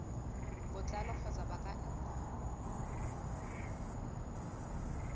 botlalo kgotsa ba ka nna